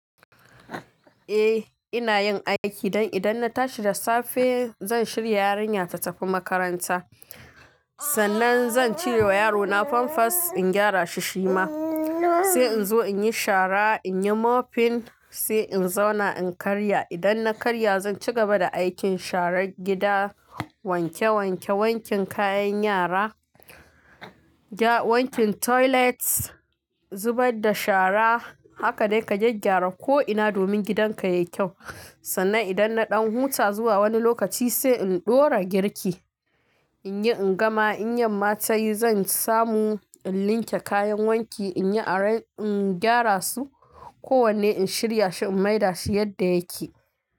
Eh ina yin aiki don idan na tashi da safe zan shirya yarinya ta tafi makaranta. Sannan zan ciro wa yarona famfas in gyara shi shima. Sai in zo in yi shara, in yi mofin sai in zauna in karya. Idan na karya zan ci gaba da aikin sharar gida, wanke wanke, wankin kayan yara, wankin toilets, zubar da shara haka dai ka gyaggyara ko ina domin gidanka ya yi kyau. Sannan idan na ɗan huta zuwa wani lokaci sai in ɗora girki, in yi in gama, in yam mata yi zan samu in linke kayan wanki, in yi in gyara su kowanne in shirya shi in maida shi yadda yake.